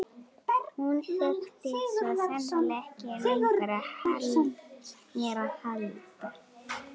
Hún þurfti svo sannarlega ekki lengur á mér að halda.